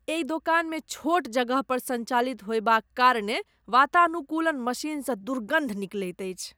एहि दोकानमे छोट जगहपर सञ्चालित होयबाक कारणे वातानुकूलन मशीनसँ दुर्गन्ध निकलैत अछि।